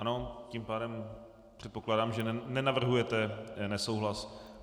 Ano, tím pádem předpokládám, že nenavrhujete nesouhlas.